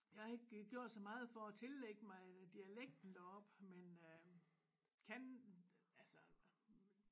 Jeg har ikke gjort så meget for at tillægge mig dialekten deroppe men øh kan altså